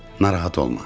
Narahat olma.